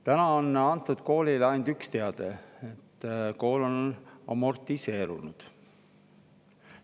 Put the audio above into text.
Praegu on antud koolile ainult üks teade: kool on amortiseerunud.